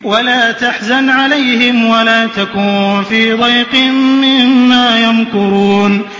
وَلَا تَحْزَنْ عَلَيْهِمْ وَلَا تَكُن فِي ضَيْقٍ مِّمَّا يَمْكُرُونَ